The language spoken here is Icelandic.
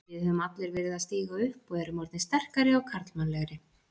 Við höfum allir verið að stíga upp og erum orðnir sterkari og karlmannlegri.